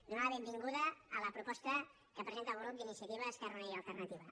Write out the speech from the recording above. donar la benvinguda a la proposta que presenta el grup d’iniciativa esquerra unida i alternativa